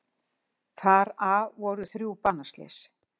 Þar af voru þrjú banaslys